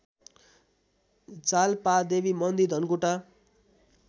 जालपादेवी मन्दिर धनकुटा